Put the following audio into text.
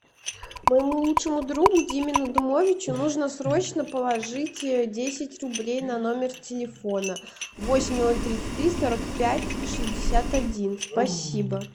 моему лучшему другу диме надумовичу нужно срочно положить десять рублей на номер телефона восемь ноль тридцать три сорок пять шестьдесят один спасибо